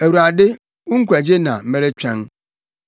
“ Awurade, wo nkwagye na meretwɛn.